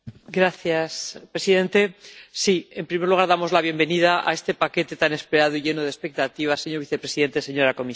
Señor presidente. En primer lugar, damos la bienvenida a este paquete tan esperado y lleno de expectativas, señor vicepresidente, señora comisaria.